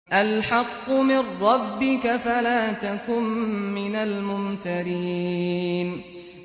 الْحَقُّ مِن رَّبِّكَ فَلَا تَكُن مِّنَ الْمُمْتَرِينَ